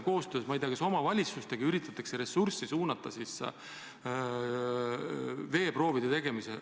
Vahest koostöös omavalitsustega üritatakse ressurssi rohkem suunata veeproovide tegemisele.